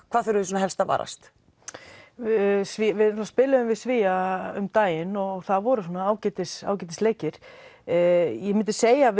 hvað þurfum við helst að varast við spiluðum við Svía um daginn og það voru ágætis ágætis leikir ég myndi segja að